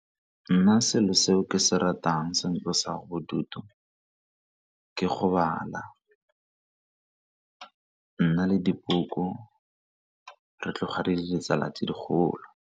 Nna selo se o ke se ratang se ntlosang bodutu ke go bala, nna le dibuka re tloga re le ditsala tse digolo.